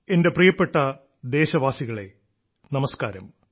എന്റെ പ്രിയപ്പെട്ട ദേശവാസികളെ നമസ്കാരം